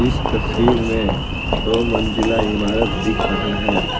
इस तस्वीर में दो मंजिला इमारत दिख रहा है ।